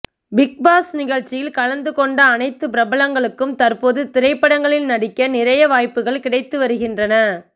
big Boss நிகழ்ச்சியில் கலந்துகொண்ட அனைத்து பிரபலங்களுக்கும் தற்போது திரைப்படங்களில் நடிக்க நிறைய வாய்ப்புகள் கிடைத்து வருகின்றன